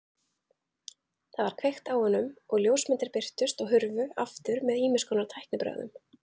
Það var kveikt á honum og ljósmyndir birtust og hurfu aftur með ýmiskonar tæknibrögðum.